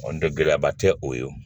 N tɛ gɛlɛyaba tɛ o ye